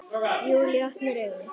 Júlía opnar augun.